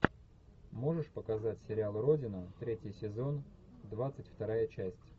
можешь показать сериал родина третий сезон двадцать вторая часть